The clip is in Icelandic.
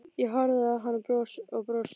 Ég horfi á hann og brosi.